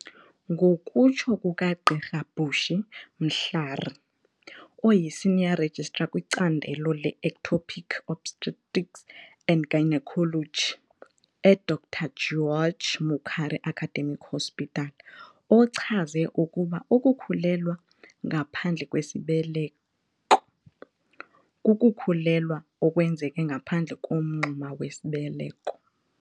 Ngokutsho kukaGqr Bushy Mhlari, oyi-Senior Registrar kwicandelo le-Ectopic Obstetrics and Gynaecology e-Dr George Mukhari Academic Hospital, ochaze ukuba ukukhulelwa ngaphandle kwesibeleko kukukhulelwa okwenzeke ngaphandle komngxuma wesibeleko.